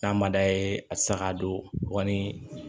N'a ma d'a ye a tɛ se ka don wa ni